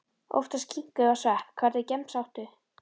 Oftast skinku og svepp Hvernig gemsa áttu?